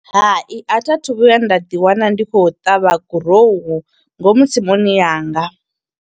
Hai, a thi a thu vhuya nda ḓi wana ndi khou ṱavha gurowu, ngomu tsimuni yanga.